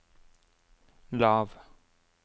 lav